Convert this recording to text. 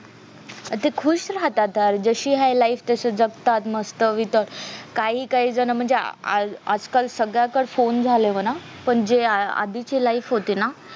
आणि ते खुश राहतात यार जशी आहे life तशी जगतात मस्त इतर काही काही जण म्हणजे आजकाल सगळ्या तर फोन झाले म्हणा पण जे आधीची life होती ना